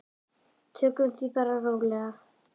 Tökum því bara rólega.